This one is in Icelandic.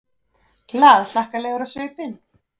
Glaðhlakkalegur á svipinn.